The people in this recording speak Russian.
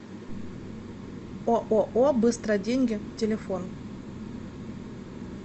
ооо быстроденьги телефон